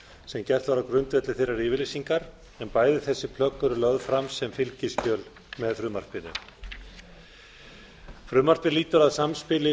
sem gert var á grundvelli þeirrar yfirlýsingar en bæði þessi plögg eru lögð fram sem fylgiskjöl með frumvarpinu frumvarpið lýtur að samspili